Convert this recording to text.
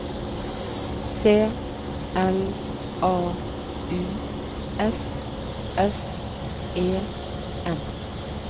C L A U S S E N